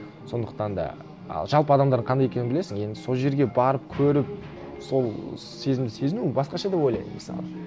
сондықтан да ал жалпы адамдар қандай екенін білесің енді сол жерге барып көріп сол сезімді сезіну басқаша деп ойлаймын мысалы